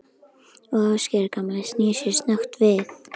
Og Ásgeir gamli snýr sér snöggt við.